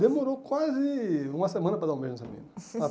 Demorou quase uma semana para dar um beijo nessa menina.